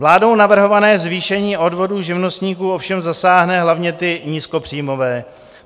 Vládou navrhované zvýšení odvodů živnostníků ovšem zasáhne hlavně ty nízkopříjmové.